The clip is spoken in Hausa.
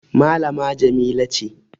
malama Jamila ce